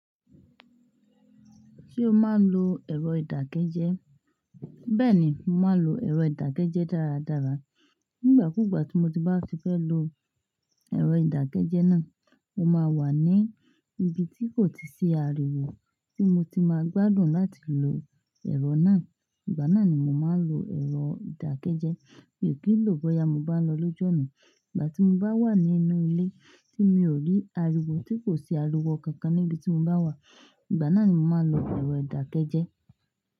Ṣé o máa ń lo ẹ̀rọ ìdákẹ́jẹ́? Bẹ́ẹ̀ni, mo máa ń lo ẹ̀rọ ìdákẹ́jẹ́ dáradára. Nígbà kúgbà tí mo bá fẹ́ lo ẹ̀rọ ìdákẹ́jẹ́ náà, mo máa wà ní ibi tí kò tí sí ariwo tí mo ti máa gbádùn láti lo ẹ̀rọ náà. Ìgbà náà ni mo máa ń lo ẹ̀rọ ìdákẹ́jẹ́. Mi ò kì í lò ó bọ́ya mo bá ń lọ lọ́ju náà. Ìgbà tí mo bá wà nínú ilé tí mi ò rí ariwo tí kò sí ariwo kankan níbi tí mo bá wà, ìgbà náà ni mo máa ń lo ẹ̀rọ ìdákẹ́jẹ́.